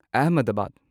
Ahmedabad